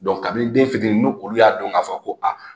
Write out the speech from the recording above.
kabini den fitini n'olu y'a dɔn k'a fɔ ko a